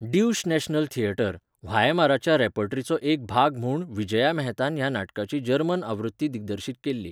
Deutsche national theatre, व्हायमाराच्या रेपर्टरीचो एक भाग म्हूण विजया मेहतान ह्या नाटकाची जर्मन आवृत्ती दिग्दर्शीत केल्ली.